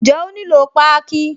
Ǹjẹ́ ó nílò páákí?